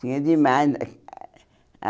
Tinha demais.